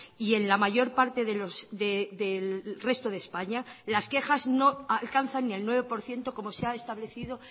y en la mayor parte del resto de españa las quejas no alcanzan ni el nueve por ciento como se ha establecido